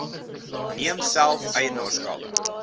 neem self eienaarskap